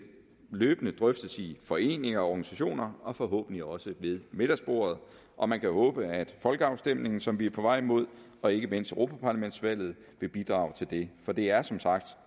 løbende drøftes i foreninger og organisationer og forhåbentlig også ved middagsbordet og man kan håbe at den folkeafstemning som vi er på vej mod og ikke mindst europaparlamentsvalget vil bidrage til det for det er som sagt